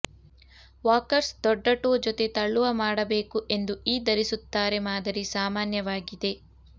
walkers ದೊಡ್ಡ toe ಜೊತೆ ತಳ್ಳುವ ಮಾಡಬೇಕು ಎಂದು ಈ ಧರಿಸುತ್ತಾರೆ ಮಾದರಿ ಸಾಮಾನ್ಯವಾಗಿದೆ